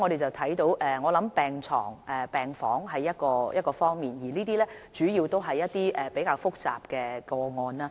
由此可見，病床和病房是其中一個方面，主要關乎較複雜的個案。